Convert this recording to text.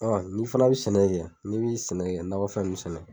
O kɔni ni fana be sɛnɛ kɛ ye ni b'i sɛnɛ kɛ nakɔ fɛn nunnu sɛnɛ.